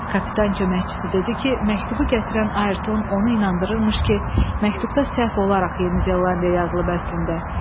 Kapitan köməkçisi dedi ki, məktubu gətirən Ayerton onu inandırırmış ki, məktubda səhv olaraq Yeni Zelandiya yazılıb əslində.